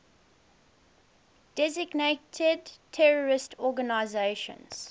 designated terrorist organizations